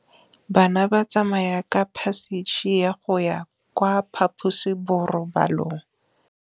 Bana ba tsamaya ka phašitshe go ya kwa phaposiborobalong.